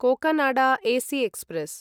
Cocanada AC express